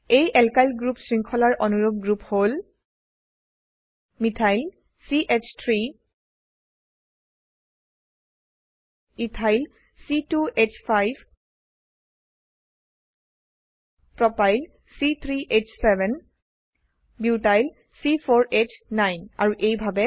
এই alkyl group শৃঙ্খলাৰ অনুৰুপ গ্ৰুপ হল মিথাইল মিথাইল চ3 ইথাইল ইথাইল c2হ5 প্ৰপাইল প্ৰোপাইল c3হ7 বিউটাইল বিউটাইল c4হ9 আৰু এইভাবে